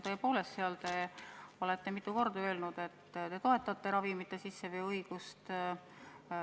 Te olete mitu korda öelnud, et te toetate ravimite sisseveo õigust.